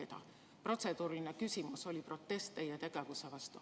Minu protseduuriline küsimus oli protest teie tegevuse vastu.